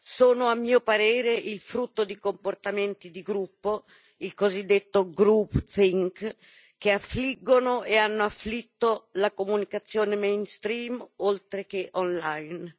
sono, a mio parere, il frutto di comportamenti di gruppo, il cosiddetto che affliggono e hanno afflitto la comunicazione oltre che online.